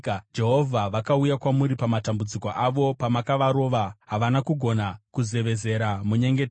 Jehovha, vakauya kwamuri mumatambudziko avo; pamakavarova, havana kugona kuzevezera munyengetero.